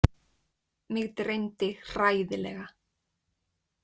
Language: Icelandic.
Mig dreymdi hræðilega.